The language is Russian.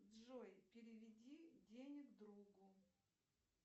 джой переведи денег другу